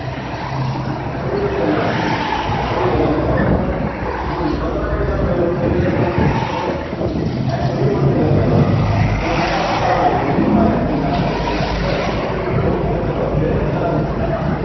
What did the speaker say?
ਛੋਟੀ ਛੋਟੀ ਗੱਲਾਂ ਹੁੰਦੀਆਂ ਨੇ ਉਹੀ ਗੱਲ ਹੈ ਮੈਂ ਉਹਨੇ ਉਹ ਕ~ ਪੰਦਰਾਂ ਮਿੰਟ ਗੱਲ ਹੋਈ ਹੋਣੀ ਮੇਰੀ ਉਹਦੇ ਨਾਲ ਹੁਣ ਇਉਂ ਥੋੜ੍ਹੀ ਆ ਰੋਜ਼ ਮੈਂ ਗੱਲ ਕਰਦਾ ਰਹਾਂਗਾ ਹੁਣ ਆਪਣੇ ਆਪ ਉਹਨੂੰ ਪਤਾ ਲੱਗੇਗਾ ਕਿ ਹਾਂ ਯਾਰ ਕਿੰਨਾ ਫ਼ਰਕ ਪਊਗਾ ਆਪਣੇ 'ਚ ਹੋਰ ਕੋਈ ਚੱਕਰ ਹੋਊਗਾ ਫਿਰ ਗੱਲ ਕਰਾਂਗੇ ਹਨਾ।